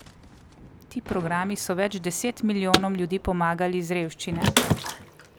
Ti programi so več deset milijonom ljudi pomagali iz revščine.